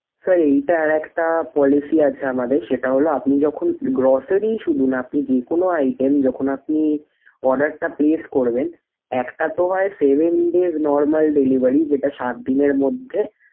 sir এইটার একটা policy আছে আমাদের সেটা হলো আপনি যখন grocery শুধু না আপনি যেকোনো item যখন আপনি order টা place করবেন একটা তো হয় seven days normal delivery যেটা সাত দিনের মধ্যে।